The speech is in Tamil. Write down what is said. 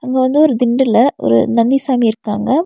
இங்க வந்து ஒரு திண்டுல ஒரு நந்தி சாமி இருகாங்க.